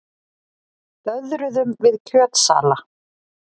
Döðruðum við kjötsala.